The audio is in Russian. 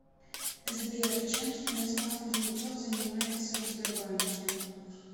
сбер чем станислав кузнецов занимается в сбербанке